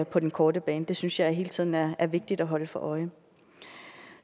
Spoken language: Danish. på den korte bane det synes jeg hele tiden er er vigtigt at holde for øje